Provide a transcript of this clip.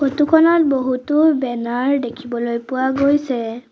Photo খনত বহুতো banner দেখিবলৈ পোৱা গৈছে।